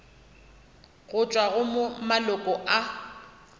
go tšwa go maloko a